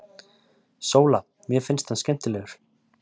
SÓLA: Mér finnst hann skemmtilegur.